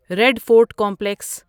red fort complex